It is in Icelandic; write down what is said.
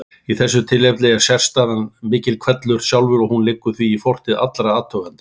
Í þessu tilfelli er sérstæðan miklihvellur sjálfur og hún liggur því í fortíð allra athugenda.